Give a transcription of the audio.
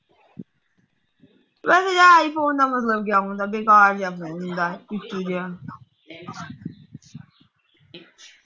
ਵੈਸੇ ਯਾਰ ਆਈਫੋਨ ਨਾ ਮਤਲਬ ਕਿਆ ਹੁੰਦਾ ਬੇਕਾਰ ਜਿਹਾ ਫੋਨ ਹੁੰਦਾ ਇਹ ਜਿਹਾ